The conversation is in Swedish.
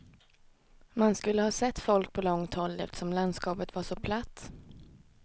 Man skulle ha sett folk på långt håll, eftersom landskapet var så platt.